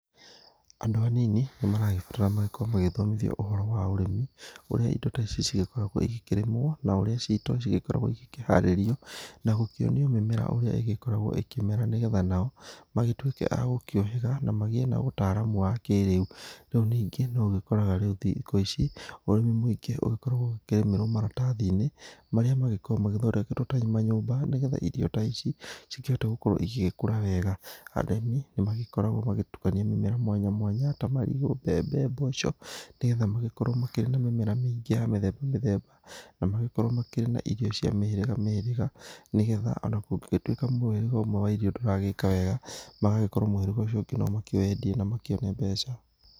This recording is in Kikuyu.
Andũ anini nĩ maragĩbatara magĩkorwo magĩthomithio ũhoro wa ũrĩmi ũrĩa indo ta ici cigĩkoragwo ĩgĩkĩrĩmwo na ũrĩa cito cĩgĩkoragwo ĩkĩharĩrio na gũkĩonio mĩmera ũrĩa ĩgĩkoragwo ĩkĩmera nĩgetha nao magĩtuĩke agũkĩũhĩga na magĩe na ũtaramu wa kĩrĩa. Rĩu ningĩ no ũgĩkoraga rĩu thikũ ici ũrĩmi mũingĩ ũgĩkoragwo ũkĩrĩmĩrwo maratathi-inĩ marĩa magĩkoragwo mathondeketwo ta manyũmba nĩgetha irio ta ici cikĩhote gũgĩkorwo ĩgĩkũra wega. Arĩmi nĩ magĩkoragwo magĩtukania mĩmera mwanya mwanya ta marigũ, mbembe, mboco nĩgetha magĩkorwo makĩrĩ na mĩmera mĩingĩ ya mĩthemba mĩthemba na magĩkorwo makĩrĩ na irio cia mĩhĩrĩga mĩhĩrĩga nĩgetha ona kũngĩgĩtuĩka mũhĩrĩga ũmwe wa irio ndũragĩka wega magagĩkorwo mũhĩrĩga ũcio ũngĩ no makĩwendie na makĩone mbeca.